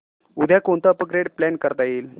उद्या कोणतं upgrade plan करता येईल